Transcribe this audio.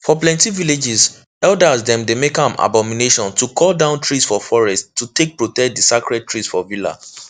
for plenty villages elders dem dey make am abomination to cut down trees for forests to take protect the sacred trees for villa